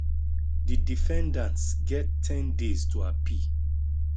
di defendants get ten days to appeal